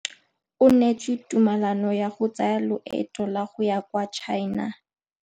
O neetswe tumalanô ya go tsaya loetô la go ya kwa China.